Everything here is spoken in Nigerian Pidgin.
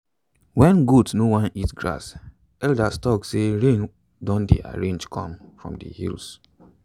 when goat no want eat grass elders talk say rain don dey arrange come from the hills.